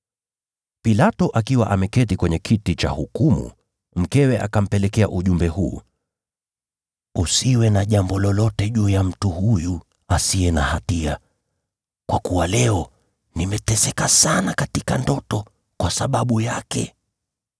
Pilato akiwa ameketi kwenye kiti cha hukumu, mkewe akampelekea ujumbe huu: “Usiwe na jambo lolote juu ya mtu huyu asiye na hatia, kwa kuwa leo nimeteseka sana katika ndoto kwa sababu yake.”